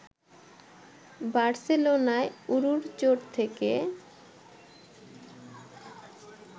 বার্সেলোনায় উরুর চোট থেকে